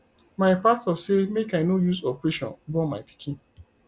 my pastor say make i no use operation born my pikin